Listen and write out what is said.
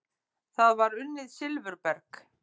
Þar var unnið silfurberg.